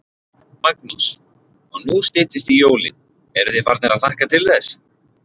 Magnús: Og nú styttist í jólin, eruð þið farnir að hlakka til þess?